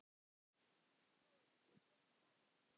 Lóa: Hvernig tók hann því?